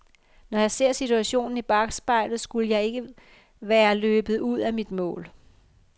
Når jeg ser situationen i bakspejlet skulle jeg ikke være løbet ud af mit mål.